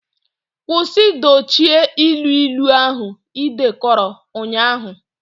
Kwụsị dochie ilu ilu ahụ ị dekọrọ ụnyahụ!.